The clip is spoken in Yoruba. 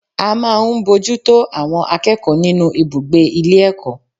A máa ń bojútó àwọn akẹ́kọ̀ọ́ nínú ibùgbé ilé ẹ̀kọ́.